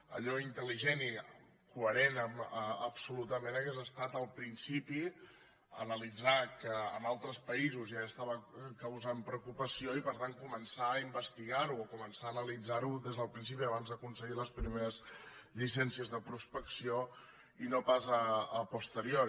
allò intel·ligent i coherent absolutament hauria estat al principi analitzar que en altres països ja estava causant preocupació i per tant començar a investigar ho o començar a analitzar ho des del principi abans de concedir les primeres llicències de prospecció i no pas a posteriori